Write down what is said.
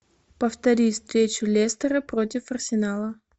повтори встречу лестера против арсенала